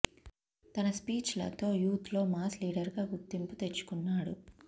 తన స్పీచ్ లతో యూత్ లో మాస్ లీడర్ గా గుర్తింపు తెచ్చుకున్నాడు